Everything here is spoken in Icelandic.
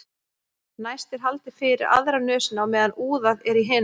næst er haldið fyrir aðra nösina á meðan úðað er í hina